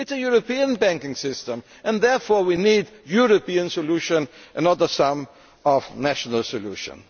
It is a European banking system, and therefore we need a European solution and not a sum of national solutions.